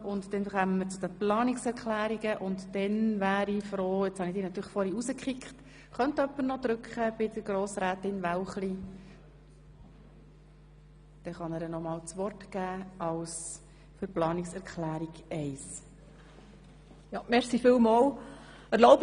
Hier kommen wir zu den Planungserklärungen, und Grossrätin Wälchli hat das Wort, um die Planungserklärungen 1 und 2 zu erläutern.